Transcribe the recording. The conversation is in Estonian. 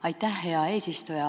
Aitäh, hea eesistuja!